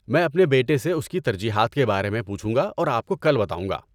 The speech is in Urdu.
میں اپنے بیٹے سے اس کی ترجیحات کے بارے میں پوچھوں گا اور آپ کو کل بتاؤں گا۔